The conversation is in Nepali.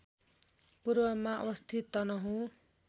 पूर्वमा अवस्थित तनहुँ